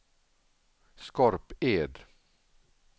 Skorped